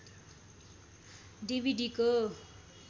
डिभिडिको